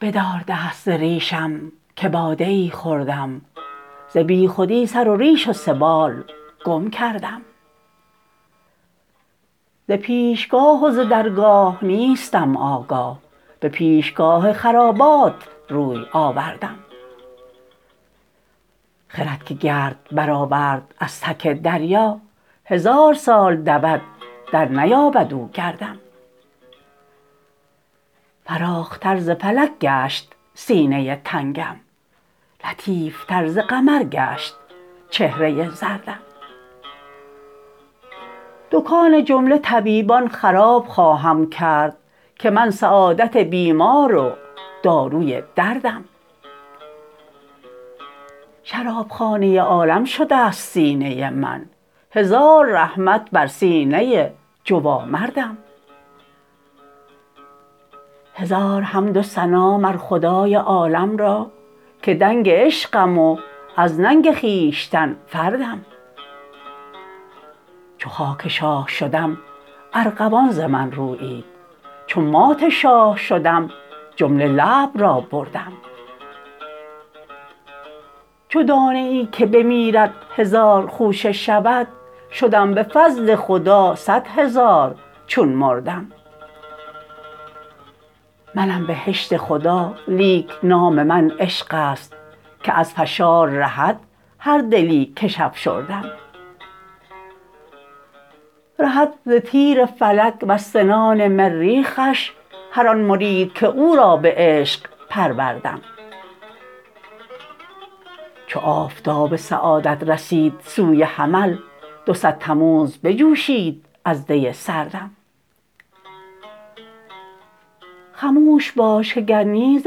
بدار دست ز ریشم که باده ای خوردم ز بیخودی سر و ریش و سبال گم کردم ز پیشگاه و ز درگاه نیستم آگاه به پیشگاه خرابات روی آوردم خرد که گرد برآورد از تک دریا هزار سال دود درنیابد او گردم فراختر ز فلک گشت سینه تنگم لطیفتر ز قمر گشت چهره زردم دکان جمله طبیبان خراب خواهم کرد که من سعادت بیمار و داروی دردم شرابخانه عالم شده ست سینه من هزار رحمت بر سینه جوامردم هزار حمد و ثنا مر خدای عالم را که دنگ عشقم و از ننگ خویشتن فردم چو خاک شاه شدم ارغوان ز من رویید چو مات شاه شدم جمله لعب را بردم چو دانه ای که بمیرد هزار خوشه شود شدم به فضل خدا صد هزار چون مردم منم بهشت خدا لیک نام من عشق است که از فشار رهد هر دلی کش افشردم رهد ز تیر فلک وز سنان مریخش هر آن مرید که او را به عشق پروردم چو آفتاب سعادت رسید سوی حمل دو صد تموز بجوشید از دی سردم خموش باش که گر نی ز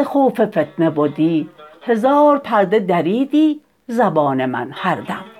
خوف فتنه بدی هزار پرده دریدی زبان من هر دم